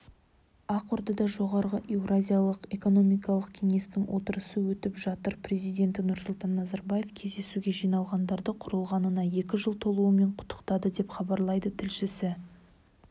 ақордада жоғары еуразиялық экономикалық кеңестің отырысы өтіп жатыр президенті нұрсұлтан назарбаев кездесуге жиналғандарды құрылғанына екі жыл толуымен құттықтады деп хабарлайды тілшісі